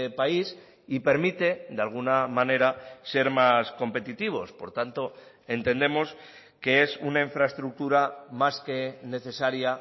país y permite de alguna manera ser más competitivos por tanto entendemos que es una infraestructura más que necesaria